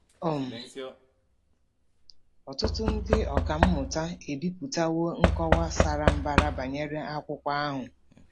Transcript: um Ọtụtụ ndị ọkà mmụta ebipụtawo nkọwa sara mbara banyere akwụkwọ ahụ.